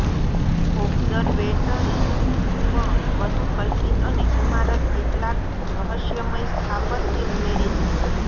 observatory પણ વધુ કલ્પિત અને ઇમારત કેટલાક રહસ્યમય સ્થાપત્ય ઉમેરે છે